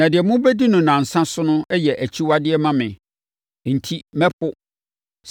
Na deɛ mobɛdi no nnansa so no yɛ akyiwadeɛ ma me, enti mɛpo.